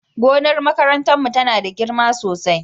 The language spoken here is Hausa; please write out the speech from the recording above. gonar makarantar mu tana da girma sosai